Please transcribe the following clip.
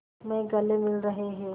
में गले मिल रहे हैं